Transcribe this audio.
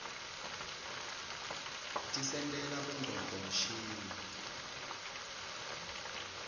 tisentela bongcondvo mshini